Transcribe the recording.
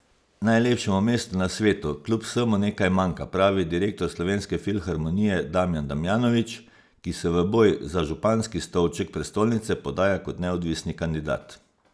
Najlepšemu mestu na svetu kljub vsemu nekaj manjka, pravi direktor Slovenske filharmonije Damjan Damjanovič, ki se v boj za županski stolček prestolnice podaja kot neodvisni kandidat.